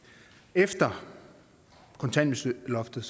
efter kontanthjælpsloftet